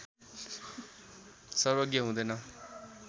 सर्वज्ञ हुँदैन